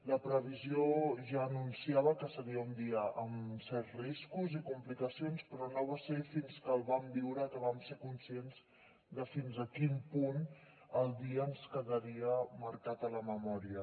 la previsió ja anunciava que seria un dia amb certs riscos i complicacions però no va ser fins que el vam viure que vam ser conscients de fins a quin punt el dia ens quedaria marcat a la memòria